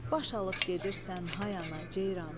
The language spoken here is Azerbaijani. Baş alıb gedirsən, hay ana ceyran.